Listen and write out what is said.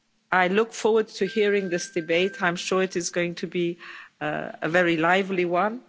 I look forward to hearing this debate. I'm sure it is going to be a very lively one.